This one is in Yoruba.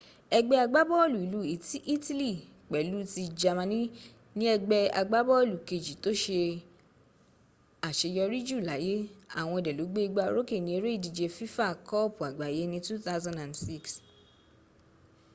egbe agbaboolu ilu itili pelu ti jamani ni egbe agbaboolu keji to se aseyori ju laye awon de lo gbe igba oroke ni ere idije fifa koopu agbaye ni 2006